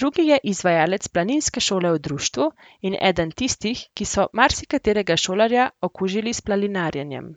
drugi je izvajalec planinske šole v društvu in eden tistih, ki so marsikaterega šolarja okužili s planinarjenjem.